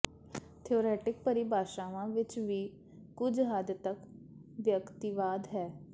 theoretic ਪਰਿਭਾਸ਼ਾਵਾਂ ਵਿੱਚ ਵੀ ਕੁਝ ਹੱਦ ਤਕ ਵਿਅਕਤੀਵਾਦ ਹੈ